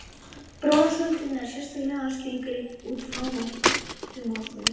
Bronsöldin er sérstaklega skilgreind útfrá notkun málmsins brons.